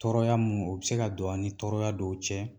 Tɔɔrɔya mun o bɛ se ka don a' ni tɔɔrɔya dɔw cɛ